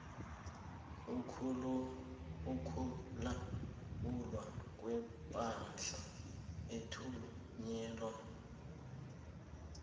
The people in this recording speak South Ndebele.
ukulawulwa kwepahla ethunyelwa